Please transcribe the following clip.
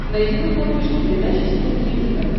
найди на смотрешке передачу синергия тв